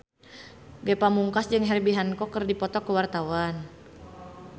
Ge Pamungkas jeung Herbie Hancock keur dipoto ku wartawan